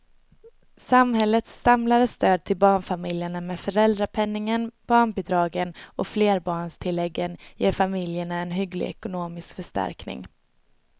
Samhällets samlade stöd till barnfamiljerna med föräldrapenningen, barnbidragen och flerbarnstilläggen ger familjerna en hygglig ekonomisk förstärkning.